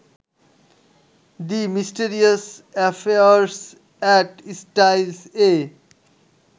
the mysterious affairs at স্টাইলস-এ